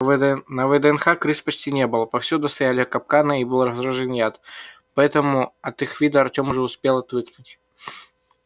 на вднх крыс почти не было повсюду стояли капканы и был разложен яд поэтому от их вида артем уже успел отвыкнуть